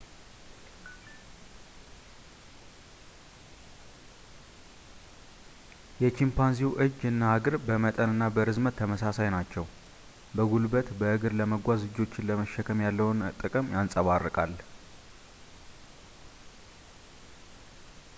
የቺምፓንዚው እጅ እና እግር በመጠን እና በእርዝመት ተመሳሳይ ናቸው ፣ በጉልበት በእግር ለመጓዝ እጆችን ለመሸከም ያለውን ጥቅም ያንፀባርቃል